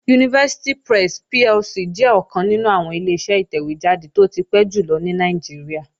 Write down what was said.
University Press PLC jẹ́ ọ̀kan nínú àwọn Ileṣẹ́ ìtẹ̀wé jáde tó ti pẹ́ jù lọ ní Nàìjíríà